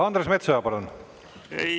Andres Metsoja, palun!